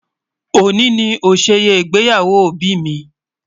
Ọ̀ní ni ọ̀ṣẹ̀yẹ ịgbẹ́yàwò ọbì mi.